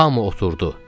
Hamı oturdu.